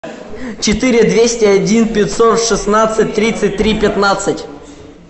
четыре двести один пятьсот шестнадцать тридцать три пятнадцать